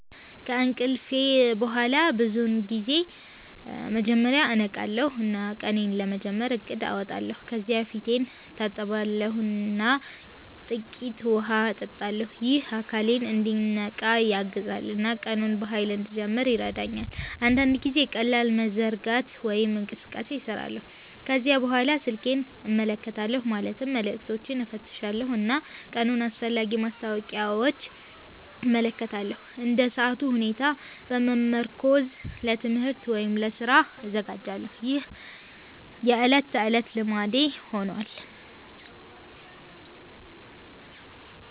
ከእንቅልፍ በኋላ ብዙውን ጊዜ መጀመሪያ እነቃለሁ እና ቀኔን ለመጀመር እቅድ አወጣለሁ። ከዚያ ፊቴን እታጠባለሁ እና ጥቂት ውሃ እጠጣለሁ። ይህ አካሌን እንዲነቃ ያግዛል እና ቀኑን በኃይል እንድጀምር ይረዳኛል። አንዳንድ ጊዜ ቀላል መዘርጋት ወይም እንቅስቃሴ እሰራለሁ። ከዚያ በኋላ ስልኬን እመለከታለሁ ማለትም መልዕክቶችን እፈትሻለሁ እና የቀኑን አስፈላጊ ማስታወቂያዎች እመለከታለሁ። እንደ ሰዓቱ ሁኔታ በመመርኮዝ ለትምህርት ወይም ለስራ እዘጋጃለሁ። ይህ የዕለት ተዕለት ልማዴ ሆኗል።